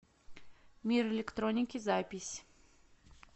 мир электроники запись